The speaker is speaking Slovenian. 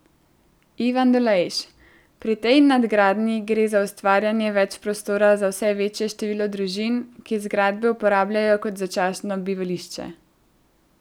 Ivan Dolejš: 'Pri tej nadgradnji gre za ustvarjanje več prostora za vse večje število družin, ki zgradbe uporabljajo kot začasno bivališče.